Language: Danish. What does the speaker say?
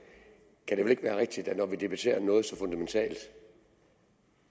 det vel ikke kan være rigtigt når vi debatterer noget så fundamentalt